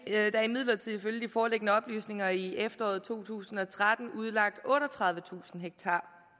er imidlertid ifølge de foreliggende oplysninger i efteråret to tusind og tretten udlagt otteogtredivetusind ha